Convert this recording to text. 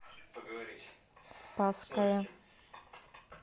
спасская